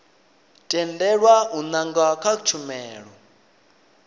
tendelwa u nanga kha tshumelo